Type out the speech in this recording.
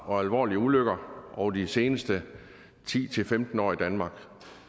og alvorlige ulykker over de seneste ti til femten år i danmark